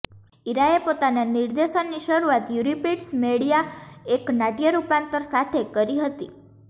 ઈરાએ પોતાના નિર્દેશનની શરૂઆત યુરિપિડ્ઝ મેડિયા એક નાટ્ય રૂપાંતરણ સાથે કરી હતી